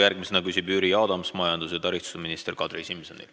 Järgmisena küsib Jüri Adams majandus- ja taristuminister Kadri Simsonilt.